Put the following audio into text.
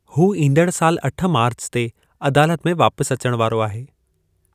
हू ईंदड़ सालु अठ मार्च ते अदालत में वापसि अचण वारो आहे।